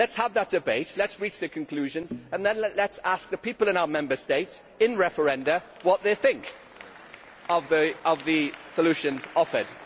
Let us have that debate, let us reach the conclusions and then let us ask the people in our Member States, in referenda, what they think of the solutions offered.